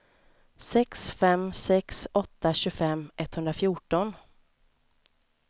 sex fem sex åtta tjugofem etthundrafjorton